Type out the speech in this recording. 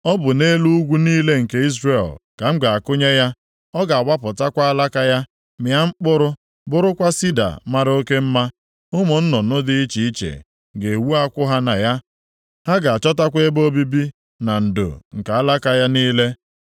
Ọ bụ nʼelu ugwu niile nke Izrel ka m ga-akụnye ya. Ọ ga-awapụtakwa alaka ya, mịa mkpụrụ, bụrụkwa sida mara oke mma. Ụmụ nnụnụ dị iche iche ga-ewu akwụ ha na ya, ha ga-achọtakwa ebe obibi na ndo nke alaka ya niile.